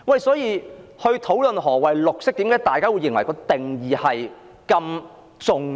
所以，在討論何謂綠色時，大家為何認為綠色的定義很重要？